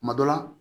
Kuma dɔ la